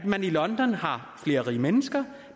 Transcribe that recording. man i london har flere rige mennesker